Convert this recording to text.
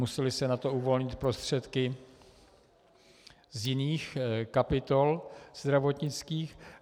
Musely se na to uvolnit prostředky z jiných kapitol zdravotnických.